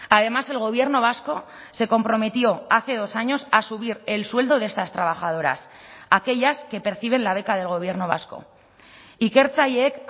además el gobierno vasco se comprometió hace dos años a subir el sueldo de estas trabajadoras aquellas que perciben la beca del gobierno vasco ikertzaileek